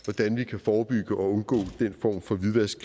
hvordan vi kan forebygge og undgå den form for hvidvask